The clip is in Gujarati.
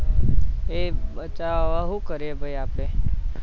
એ બધા હવે શું કરીએ આપણે